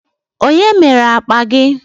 Onye mere akpa gi?